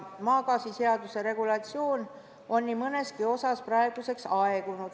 Maagaasiseaduse regulatsioon on nii mõneski osas praeguseks aegunud.